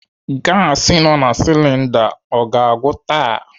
Gasi nọ na silinda ọ ga-agwụ taa?